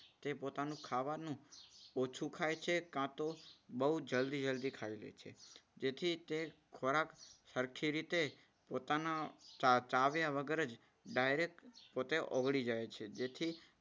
તે પોતાનું ખાવાનું ઓછું ખાય છે. કાતો બહુ જલ્દી જલ્દી ખાઈ લે છે. તેથી તે ખોરાક સરખી રીતે પોતાના ચાવ્યા વગર જ direct પોતે ઓગળી જાય છે. જેથી,